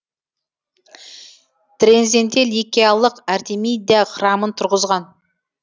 трензенде ликиалық артемидя храмын тұрғызған